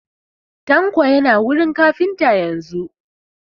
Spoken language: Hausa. Tanko yana wurin kafintan yanzun